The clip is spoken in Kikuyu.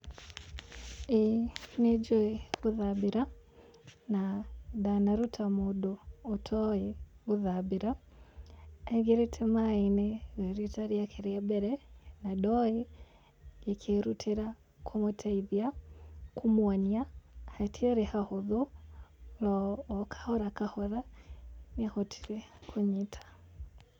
Ĩĩ nĩ njũĩ gũthambĩra, na ndanaruta mũndũ atoĩ gũthambira aingĩrĩte maaĩ-inĩ rĩ rita rĩake rĩa mbere, na ndoi, ngĩkĩĩrutĩra kũmũteithia, kũmuonia, hatiarĩ hahũthũ no okahora okahora nĩ ahotire kũnyita.